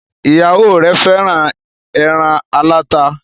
Ìyàwó rẹ fẹràn èràn alata.